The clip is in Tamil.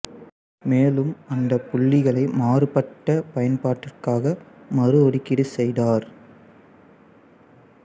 மேலும் அந்த புள்ளிகளை மாறுபட்ட பயன்பாட்டிற்காக மறு ஒதுக்கீடு செய்தார்